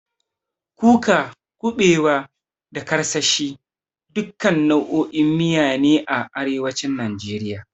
Kuka, kuɓewa, da karkashin, duka nau'o'in miya ne a arewacin najeriya.